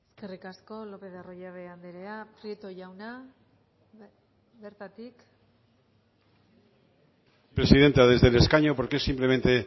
eskerrik asko lópez de arroyabe andrea prieto jauna bertatik presidenta desde el escaño porque es simplemente